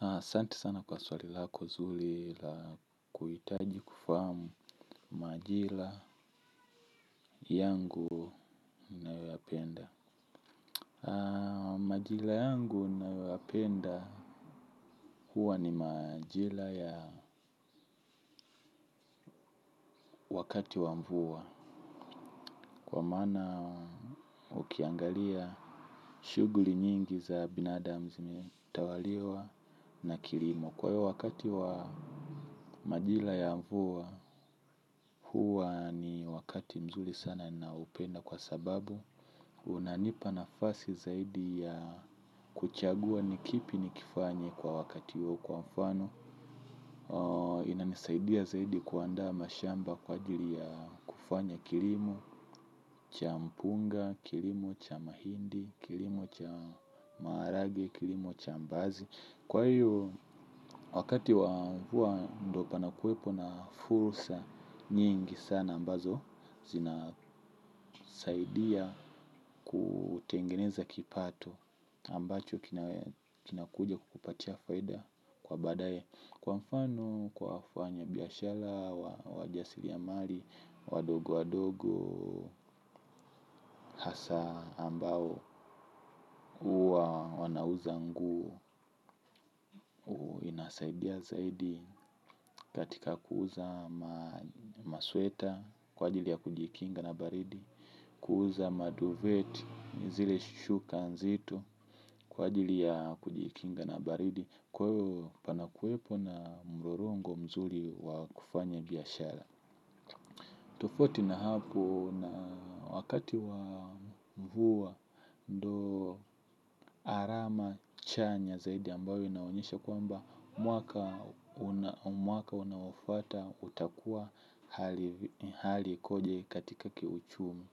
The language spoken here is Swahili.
Asanti sana kwa swali lako zuri la kuhitaji kufahamu majira yangu. Majira yangu nayoyapenda huwa ni majira ya wakati wa mvua. Kwa maana ukiangalia shughuli nyingi za binadamu zimetawaliwa na kilimo. Kwa hiyo wakati wa majira ya mvua huwa ni wakati mzuri sana naupenda kwa sababu unanipa nafasi zaidi ya kuchagua ni kipi nikifanye kwa wakati huo kwa mfano. Inanisaidia zaidi kuandaa mashamba kwa ajili ya kufanya kilimo cha mpunga, kilimo cha mahindi, kilimo cha maharagwe, kilimo cha mbaazi. Kwa hiyo wakati wa mvua fua ndo panakuwepo na fursa nyingi sana ambazo zinasaidia kutengeneza kipato ambacho kinakuja kupatia faida kwa badaye. Kwa mfano kwa wafanya biashara wajasiri ya mali wadogo wadogo hasa ambao huwa wanauza nguo inasaidia zaidi katika kuuza masweta kwa ajili ya kujikinga na baridi. Kuuza maduvet zile shuka nzito kwa ajili ya kujikinga na baridi kwa hiyo panakuwepo na mrorongo mzuri wa kufanya biashara. Tufauti na hapo na wakati wa mvua ndo alama chanya zaidi ambayo inaonyesha kwamba mwaka unaoafuata utakuwa hali hali ikoje katika kiuchumi.